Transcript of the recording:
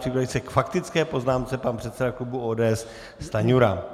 Připraví se k faktické poznámce pan předseda klubu ODS Stanjura.